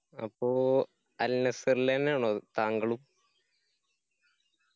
അപ്പൊ al nassr ലെന്നെ ആണോ താങ്കളും